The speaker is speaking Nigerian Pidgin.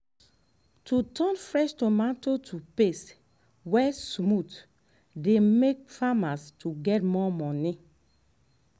to turn fresh tomato to paste wey smooth dey make farmers get more money